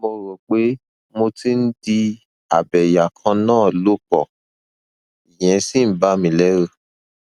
mo rò pé mo ti ń di abẹyàkannáàlòpọ ìyẹn sì ń bà mí lẹrù